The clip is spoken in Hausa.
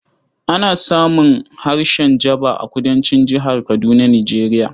Ana samun harshen Jaba a Kudancin Jihar Kadunar Nijeriya